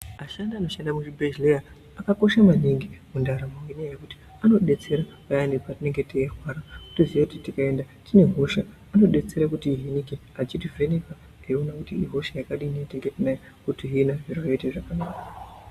Ashandi anoshanda muzvibhedhleya akakosha maningi mundaramo ngenyaya yekuti anodetsera payani patinenge teirwara totoziya kuti tikaenda tine hosha anodetsere kuti tihinike achitivheneka teiona kuti ihosha yakadini yatenge tinayo otihina zvoite zviro zvakanaka.